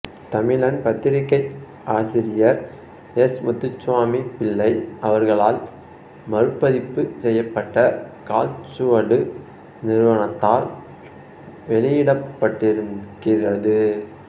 தமிழன் பத்திரிக்கை ஆசிரியர் எஸ் முத்துசாமிப் பிள்ளை அவர்களால் மறுபதிப்பு செய்யப்பட்டு காலச்சுவடு நிறுவனத்தால் வெளியிடப்பட்டிருக்கிறது